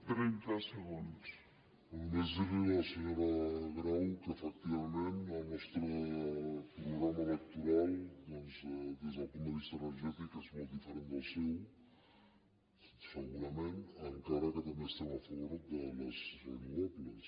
no només dir li a la senyora grau que efectivament el nostre programa electoral doncs des del punt de vista energètic és molt diferent del seu segurament encara que també estem a favor de les renovables